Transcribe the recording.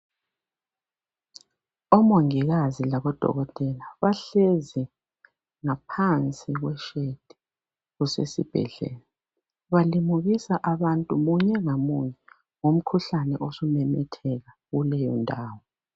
Omongikazi labodokotela bahlezi ngaphansi kweshedi kusesibhedlela, balimukisa abantu, munye ngamunye ngomkhuhlane osumemetheka kuleyondawo.